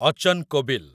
ଅଚନ୍ କୋବିଲ୍